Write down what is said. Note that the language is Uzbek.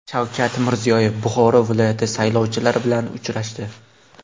Shavkat Mirziyoyev Buxoro viloyati saylovchilari bilan uchrashdi.